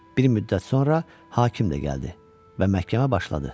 Bir müddət sonra hakim də gəldi və məhkəmə başladı.